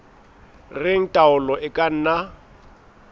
reng taolo e ka nna